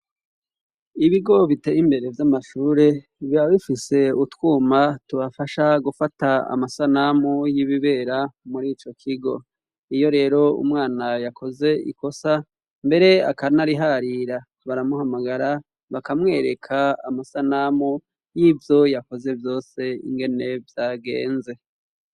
Ibigo biteye imbere vy'amashure biba bifise utwuma tubafasha gufata amasanamu y'ibibera muri ico kigo. Iyo rero umwana yakoze ikosa mbere akanariharira baramuhamagara bakamwereka amasanamu y'ivyo yakoze vyose ingene vyagenze.